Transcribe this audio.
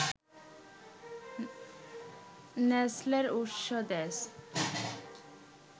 নেসলের উৎস-দেশ